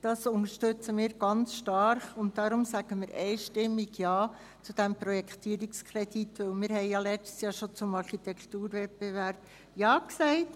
Dies unterstützen wir ganz stark, und darum sagen wir einstimmig Ja zu diesem Projektierungskredit, denn wir hatten ja letztes Jahr schon zum Architekturwettbewerb Ja gesagt.